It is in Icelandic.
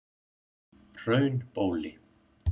Hraunbóli